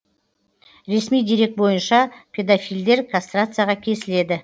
ресми дерек бойынша педофилдер кастрацияға кесіледі